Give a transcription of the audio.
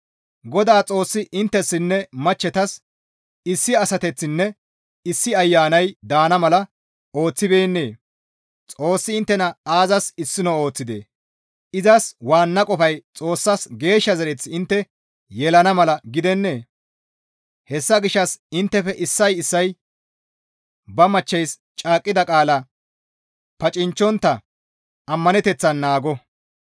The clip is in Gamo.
Godaa Xoossi inttessinne machchetas issi asateththinne issi ayanay daana mala ooththibeennee? Xoossi inttena aazas issino ooththidee? Izas waanna qofay Xoossas geeshsha zereth intte yelana mala gidennee? Hessa gishshas inttefe issay issay ba machcheys caaqqida qaala pacinchchontta ammaneteththan naago.